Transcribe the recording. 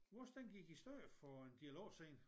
Vores den gik i stykker for en del år siden